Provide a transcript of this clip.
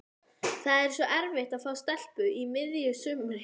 Það er svo erfitt að fá stelpu á miðju sumri.